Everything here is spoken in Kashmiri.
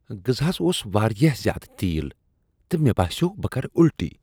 غذہس اوس واریاہ زیادٕ تیٖل تہٕ مے باسیو بہٕ کرٕ الٹی۔